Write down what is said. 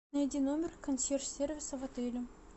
найди номер консьерж сервиса в отеле